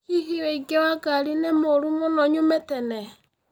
Hihi ũingĩ wa ngari ni mũru muno nyume tene